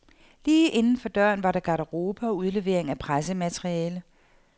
Lige inden for døren var der garderobe og udlevering af pressemateriale.